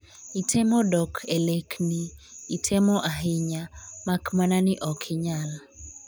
itemo dok e lek ni…..itemo ahinya mak mana ni ok inyal